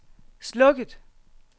slukket